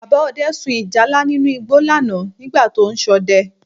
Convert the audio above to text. Bàbá Ọdẹ sun ìjálá nínú igbó lánàá nígbà tó ń ṣọdẹ